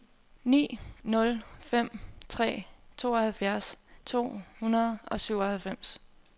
ni nul fem tre tooghalvfjerds to hundrede og syvoghalvfems